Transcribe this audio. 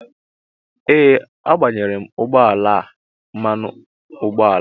Ee agbayere ụgbọ ala a mmanụ ụgbọala.